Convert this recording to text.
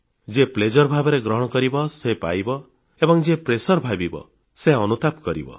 ଯିଏ ଆନନ୍ଦ ଭାବରେ ଗ୍ରହଣ କରିବ ସେ ପାଇବ ଏବଂ ଯିଏ ମାନସିକ ଚାପ ଭାବିବ ସେ ଅନୁତାପ କରିବ